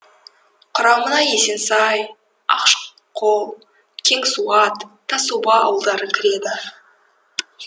құрамына есенсай ақшқол кеңсуат тасоба ауылдары кіреді